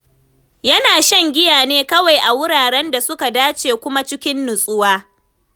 Yana shan giya ne kawai a wuraren da suka dace kuma cikin natsuwa.